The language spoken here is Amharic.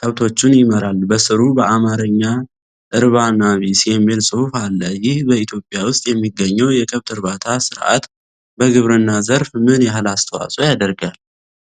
ከብቶቹን ይመራል። በሥሩ በአማርኛ"እርባና ቢስ"የሚል ጽሑፍ አለ። ይህ በኢትዮጵያ ውስጥ የሚገኘው የከብት እርባታ ሥርዓት በግብርና ዘርፍ ምን ያህል አስተዋጽኦ ያደርጋል?